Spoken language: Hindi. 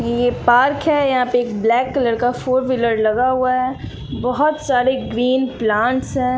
ये पार्क है यहां पे एक ब्लैक कलर का फोर व्हीलर लगा हुआ है बहोत सारे ग्रीन प्लांट्स है।